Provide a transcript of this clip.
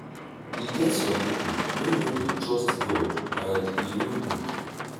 e get some people wey no dey trust god and e no good